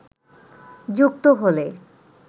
যুক্ত হলে